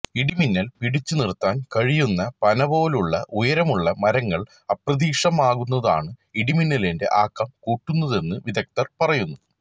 ഇടിമിന്നല് പിടിച്ചുനിര്ത്താന് കഴിയുന്ന പനപോലുള്ള ഉയരമുള്ള മരങ്ങള് അപ്രത്യക്ഷമാകുന്നതാണ് ഇടിമിന്നലിന്റെ ആക്കം കൂട്ടുന്നതെന്ന് വിദഗ്ധര് പറയുന്നു